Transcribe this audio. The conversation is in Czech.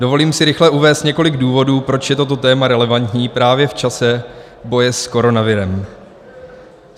Dovolím si rychle uvést několik důvodů, proč je toto téma relevantní právě v čase boje s koronavirem.